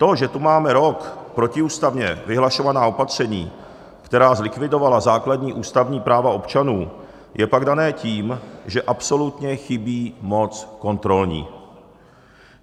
To, že tu máme rok protiústavně vyhlašovaná opatření, která zlikvidovala základní ústavní práva občanů, je pak dáno tím, že absolutně chybí moc kontrolní.